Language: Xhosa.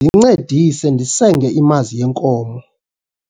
ndincedise ndisenge imazi yenkomo